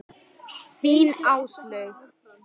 Af hverju hernámu Bretar Ísland?